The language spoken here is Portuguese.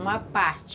Uma parte.